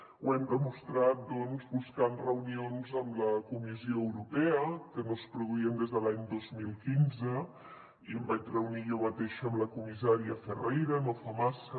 ho hem demostrat doncs buscant reunions amb la comissió europea que no es produïen des de l’any dos mil quinze i em vaig reunir jo mateixa amb la comissària ferreira no fa massa